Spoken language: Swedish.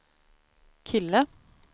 kille